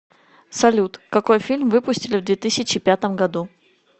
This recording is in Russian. салют какой фильм выпустили в две тысячи пятом году